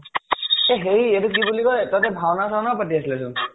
এ হেৰি এইটো কি বুলি কয়, তাতে ভাওনা চাওনা ও পাতি আছিলে চোন ?